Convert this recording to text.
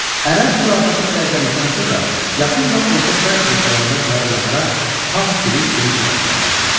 Ərəb xilafəti zəiflədikdən sonra yaxın və orta şərq ölkələrində saraylarda fars dili geniş yayılmağa başladı.